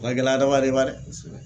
O ka gɛlɛ adamaden ma dɛ, kosɛbɛ.